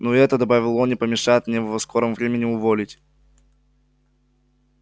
но и это добавил он не помешает мне его в скором времени уволить